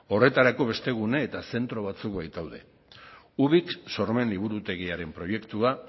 horretarako beste gune eta zentro batzuk baitaude ubik sormen liburutegiaren proiektua